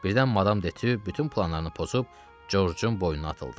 Birdən Madam Detyu bütün planlarını pozub Corcun boynuna atıldı.